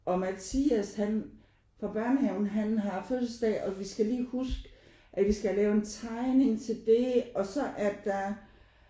Og Mathias han fra børnehaven han har fødselsdag og vi skal lige huske at vi skal lave en tegning til det og så er der